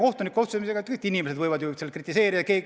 Kohtunike otsuseid võivad kõik inimesed kritiseerida.